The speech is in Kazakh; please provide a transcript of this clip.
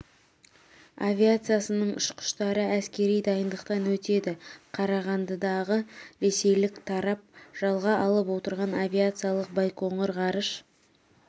авиациясының ұшқыштары әскери дайындықтан өтеді қарағандыдағы ресейлік тарап жалға алып отырған авиациялық байқоңыр ғарыш